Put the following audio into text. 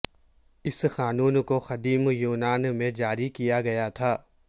اس قانون کو قدیم یونان میں جاری کیا گیا تھا